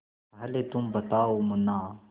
पहले तुम बताओ मुन्ना